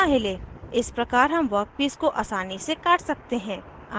इस प्रकार हम वर्कपीस को आसानी से काट सकते हैं